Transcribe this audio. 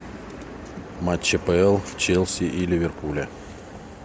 матч апл челси и ливерпуля